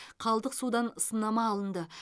қалдық судан сынама алынды